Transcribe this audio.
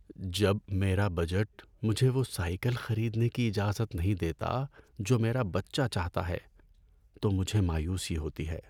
جب میرا بجٹ مجھے وہ سائیکل خریدنے کی اجازت نہیں دیتا جو میرا بچہ چاہتا ہے تو مجھے مایوسی ہوتی ہے۔